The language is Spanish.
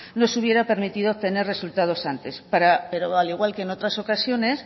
nos hubiera permitido obtener resultados antes pero al igual que en otras ocasiones